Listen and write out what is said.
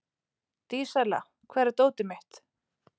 Dísella, hvar er dótið mitt?